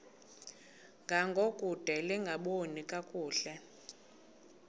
ngangokude lingaboni kakuhle